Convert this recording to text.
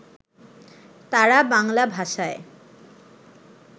তাঁরা বাংলা ভাষায়